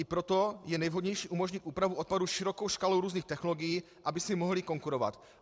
I proto je nejvhodnější umožnit úpravu odpadů širokou škálou různých technologií, aby si mohly konkurovat.